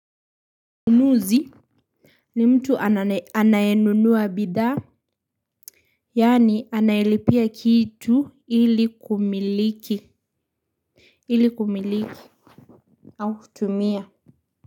Mnunuzi. Ni mtu anayenunua bidhaa. Yaani anayelipia kitu ili kumiliki ili kumiliki au kutumia.